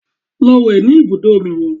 Lọ wẹ̀ ní ibùdó omi yẹn!